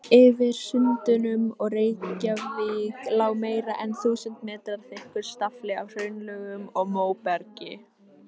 Yfir Sundunum og Reykjavík lá meira en þúsund metra þykkur stafli af hraunlögum og móbergi.